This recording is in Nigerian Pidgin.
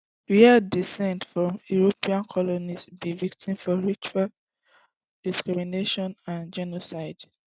wey descend from european colonists be victims of racial discrimination and genocide